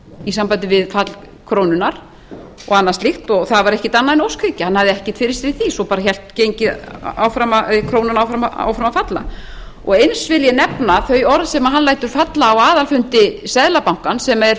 í sambandi við fall krónunnar og annað slíkt það var ekkert annað en óskhyggja hann hafði ekkert fyrir sér í því svo hélt krónan áfram að falla eins vil ég nefna þau orð sem hann lætur falla á aðalfundi seðlabankans sem er